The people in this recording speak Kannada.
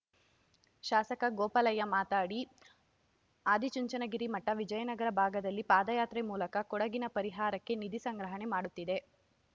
ಶಾಸಕ ಗೋಪಾಲಯ್ಯ ಮಾತಾಡಿ ಆದಿಚುಂಚನಗಿರಿ ಮಠ ವಿಜಯನಗರ ಭಾಗದಲ್ಲಿ ಪಾದಯಾತ್ರೆ ಮೂಲಕ ಕೊಡಗಿನ ಪರಿಹಾರಕ್ಕೆ ನಿಧಿ ಸಂಗ್ರಹಣೆ ಮಾಡುತ್ತಿದೆ